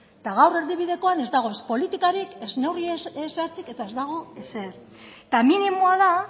eta gaur erdibidekoan ez dago ez politikarik ez neurri zehatzik eta ez dago ezer eta minimoa da